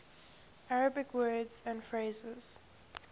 arabic words and phrases